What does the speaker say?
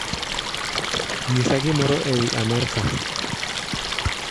Ng'isa gimoro ewi Amerika